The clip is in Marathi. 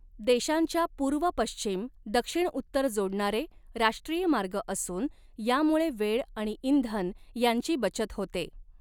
देशांच्या पूर्व पश्चिम दक्षिणउत्तर जोडणारे राष्ट्रीय मार्ग असून यामुळे वेळ आणि इंधन यांची बचत होते.